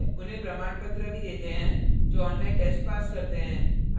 उन्हें प्रमाणपत्र भी देते है जो online test pass करते हैं